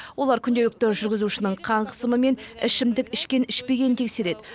олар күнделікті жүргізушінің қан қысымы мен ішімдік ішкен ішпегенін тексереді